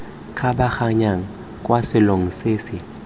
kgabaganyang kwa selong se se